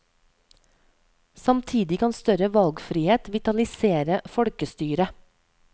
Samtidig kan større valgfrihet vitalisere folkestyret.